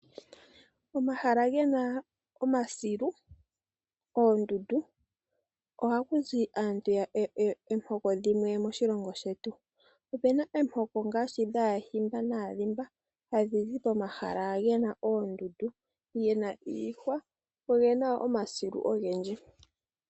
Omahala gena omasilu, oondundu ohaku zi aantu yomihoko dhimwe moshilongo shetu. Opuna omihoko ngaashi dhaahimba naadhimba hadhi zi momahala gena oondundu, gena iihwa go ogena omasilu ogendji.